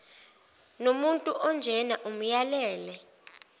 nomuntu onjena amyalele